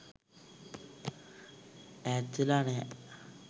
ඈත්වෙලා නැහැ.